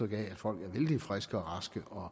af at folk er vældig friske og raske og